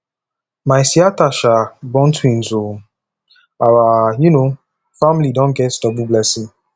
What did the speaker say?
my siata um born twins o our um family don get double blessing